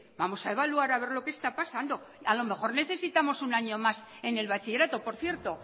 vamos a evaluar a ver lo que está pasando a lo mejor necesitamos un año más en el bachillerato por cierto